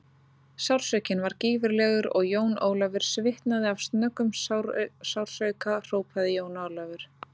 Sársaukinn var gífurlegur og Jón Ólafur svitnaði af snöggum sársauka hrópaði Jón Ólafur.